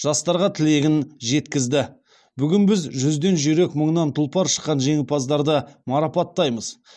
жастарға тілегін жеткізді бүгін біз жүзден жүйрік мыңнан тұлпар шыққан жеңімпаздарды марапаттаймыз